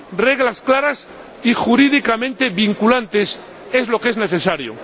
Reglas claras y jurídicamente vinculantes es lo que es necesario.